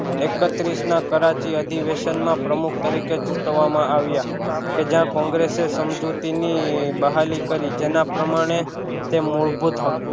એકત્રીસ ના કરાચી અધિવેશન માં પ્રમુખ તરીકે ચૂટવામાં આવ્યા કે જ્યાં કોંગ્રેસે સમજૂતી ની બહાલી કરી જેના પ્રમાણે તે મૂળભૂત હક